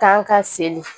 Kan ka seli